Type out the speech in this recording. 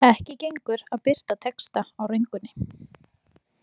Ekki gengur að birta texta á röngunni.